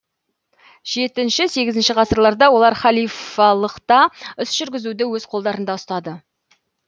жетінші сегізінші ғасырларда олар халифалықта іс жүргізуді өз колдарында ұстады